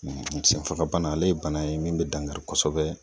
Senfagabana, ale ye bana ye min be dankari kosɛbɛ